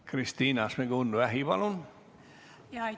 Kristina Šmigun-Vähi, palun!